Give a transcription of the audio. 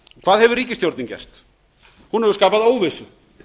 hvað hefur ríkisstjórnin gert hún hefur skapað óvissu